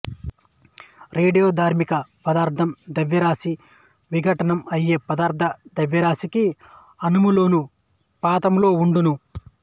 రేడియోధార్మిక పదార్థం ద్రవ్యరాశి విఘటనం అయ్యే పదార్థ ద్రవ్యరాశికి అనులోమాను పాతంలో ఉండును